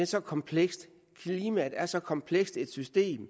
så komplekst klimaet er så komplekst et system og